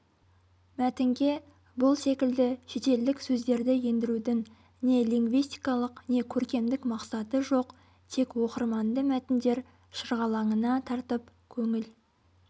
мәтінге бұл секілді шетелдік сөздерді ендірудің не линвистикалық не көркемдік мақсаты жоқ тек оқырманды мәтіндер шырғалаңына тартып көңіл